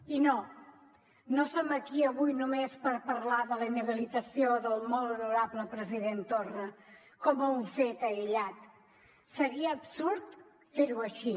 i no no som aquí avui només per parlar de la inhabilitació del molt honorable president torra com un fet aïllat seria absurd fer ho així